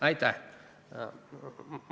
Aitäh!